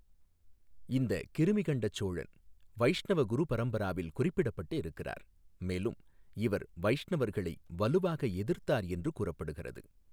இந்த கிருமிகண்டச் சோழன் வைஷ்ணவ குருபரம்பராவில் குறிப்பிடப்பட்டு இருக்கிறார், மேலும் இவர் வைஷ்ணவர்களை வலுவாக எதிர்த்தார் என்று கூறப்படுகிறது.